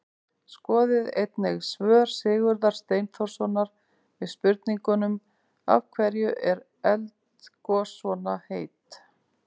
Skoðið einnig svör Sigurðar Steinþórssonar við spurningunum: Af hverju eru eldgos svona heit?